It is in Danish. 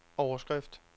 overskrift